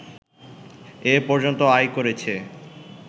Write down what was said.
এ পর্যন্ত আয় করেছে